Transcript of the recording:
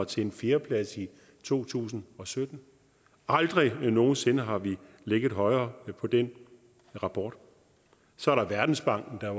til en fjerdeplads i to tusind og sytten aldrig nogensinde har vi ligget højere på den rapport så er der verdensbanken der